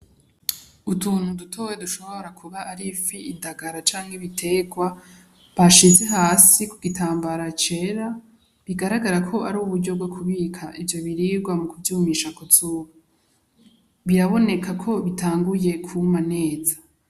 Utuntu dutoya dushobora kuba ari ifi ,indagara canke ibiterwa bashize hasi ku gitambara cera bigaragara ko ari uburyo bwo kubika ivyo biribwa mu kuvyumisha ku zuba , biraboneka ko bitanguye kuma neza.